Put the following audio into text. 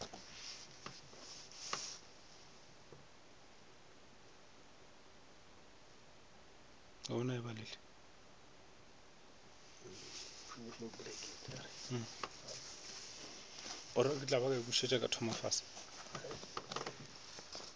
sa rragwe aowii khutšišo o